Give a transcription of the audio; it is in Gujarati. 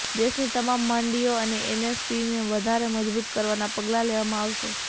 દેશની તમામ મંડીઓ અને એપીએમસીને વધારે મજબૂત કરવાનાં પગલાં લેવામાં આવશે